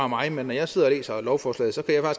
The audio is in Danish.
mig men når jeg sidder og læser lovforslaget så kan